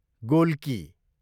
Golgi